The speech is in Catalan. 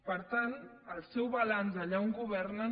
per tant el seu balanç allà on governen